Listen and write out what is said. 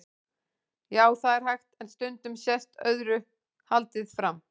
Já, það er hægt, en stundum sést öðru haldið fram.